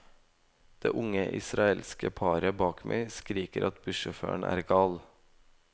Det unge israelske paret bak meg skriker at bussjåføren er gal.